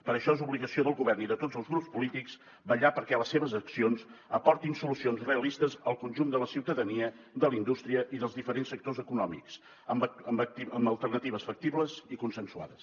per això és obligació del govern i de tots els grups polítics vetllar perquè les seves accions aportin solucions realistes al conjunt de la ciutadania de la indústria i dels diferents sectors econòmics amb alternatives factibles i consensuades